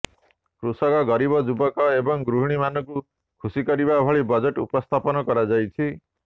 କୃଷକ ଗରିବ ଯୁବକ ଏବଂ ଗୃହିଣୀମାନଙ୍କୁ ଖୁସି କରିବା ଭଳି ବଜେଟ୍ ଉପସ୍ଥାପନ କରାଯାଇଛି